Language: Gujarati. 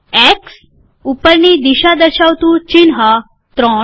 એક્સ ઉપરની દિશા દર્શાવતું ચિહ્ન ૩